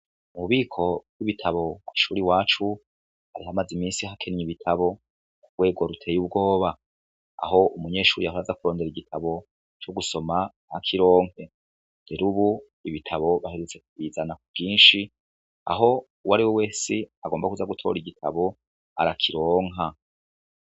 Umubiko bw'ibitabo kw'ishure iwacu ihamaze imisi hakenye ibitabo ku rwego ruteye ubwoba aho umunyeshuri ahoraza kurondera igitabo co gusoma ntakironke jerubu ibitabo baheretse kwizana ku ginshi aho uwo ariwe uwe si agomba kuza gutora igitabo arakironka.